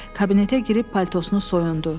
Kabinetə girib paltosunu soyundu.